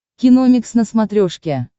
киномикс на смотрешке